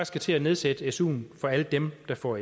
skal til at nedsætte suen for alle dem der får